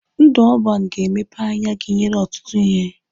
Ndụ ọban ga-emepe anya gị nyere ọtụtụ ihe.